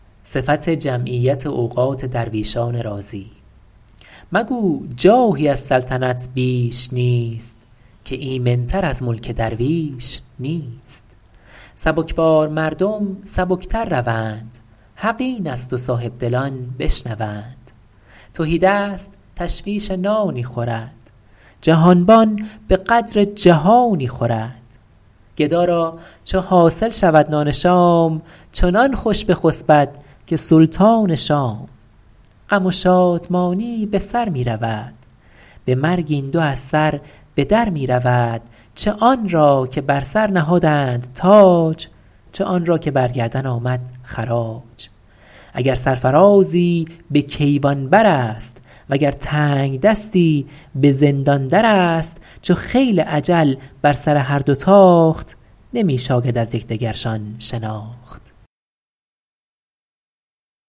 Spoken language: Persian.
مگو جاهی از سلطنت بیش نیست که ایمن تر از ملک درویش نیست سبکبار مردم سبک تر روند حق این است و صاحبدلان بشنوند تهیدست تشویش نانی خورد جهانبان به قدر جهانی خورد گدا را چو حاصل شود نان شام چنان خوش بخسبد که سلطان شام غم و شادمانی به سر می رود به مرگ این دو از سر به در می رود چه آن را که بر سر نهادند تاج چه آن را که بر گردن آمد خراج اگر سرفرازی به کیوان بر است وگر تنگدستی به زندان در است چو خیل اجل بر سر هر دو تاخت نمی شاید از یکدگرشان شناخت